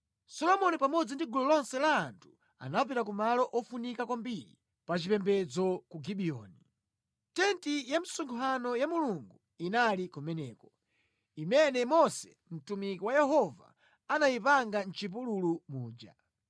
Solomoni pamodzi ndi gulu lonse la anthu anapita ku malo ofunika kwambiri pachipembedzo ku Gibiyoni. Tenti ya msonkhano ya Mulungu inali kumeneko, imene Mose mtumiki wa Yehova anayipanga mʼchipululu muja.